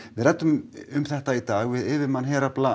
við ræddum um þetta í dag við yfirmann herafla